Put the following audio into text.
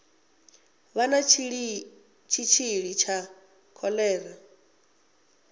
vha na tshitshili tsha kholera